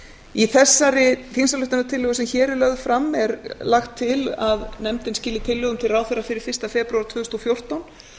í þessari þingsályktunartillögu sem hér er lögð fram er lagt til að nefndin skili tillögum til ráðherra fyrir fyrsta febrúar tvö þúsund og fjórtán